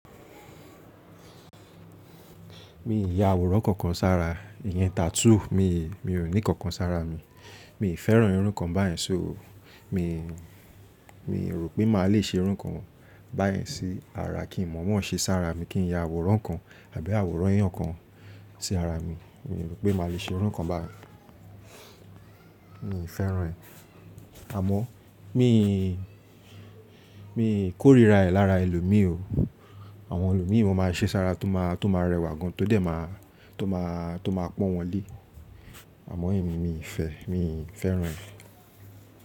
Mi ì ya àwòrán kankan sára, ìyẹn tattoo. Mi, mi ò ní kankan sára mi. Mi ì fẹ́ràn irun kan báyìí ṣe o. Mi, mi rò pé màá le ṣe irun kan báyìí sí ara kí n mọ̀ọ́mọ̀n ṣe sára mi kí n ya àwòrán kan àbí àwòrán eeyán kan sí ara mi. Mi rò pé màá le ṣe irun kan báyìí. Mi ì fẹ́ràn ẹ̀. Àmọ́ mi, mi kórìíra ẹ̀ lára ẹlòmíì o. Àwọn ẹlòmíì wọ́n ma ṣe sára tó ma, tó ma rẹwà gan tódẹ̀ máa, tó máa, tó máa pọ́n wọn lé. Àmọ́ ẹ̀mi mi ì fẹ́, mi ì fẹ́ràn ẹ̀